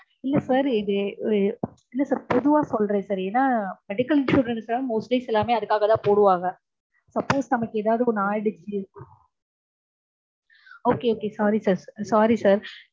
இல்ல sir இது. இல்ல sir பொதுவா சொல்றேன் சொல்றேன் sir ஏன்னா medical insurance லாம் mostly எல்லாருமே அதுக்காகதா போடுவாங்க. suppose நமக்கு எதாவது ஆயிடுச்சு. Okay okay sorry sir sorry sir